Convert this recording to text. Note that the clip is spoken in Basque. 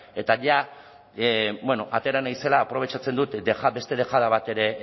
eta ja bueno atera naizela aprobetxatzen dut beste dejada bat ere